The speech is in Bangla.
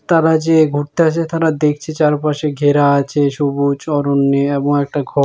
তারা যে ঘুরতে আসে তারা দেখছি চারপাশে ঘেরা আছে সবুজ অরণ্যে এমন একটা ঘ--